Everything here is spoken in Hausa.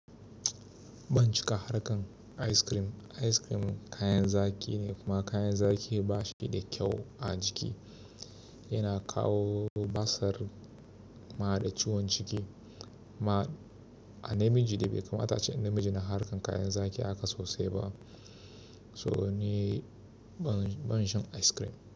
Ban cika harkar ice cream. Ice cream kayan zaki ne kuma kayan zaki bashi da kyau a jiki. Yana kawo basir kuma hada ciwon ciki. Ma a namiji da bai kamata ce namiji na harkar kayan zaki haka sosai ba. Sobo da ni ban, ban shan ice cream.